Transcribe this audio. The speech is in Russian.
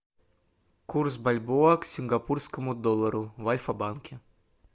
курс бальбоа к сингапурскому доллару в альфа банке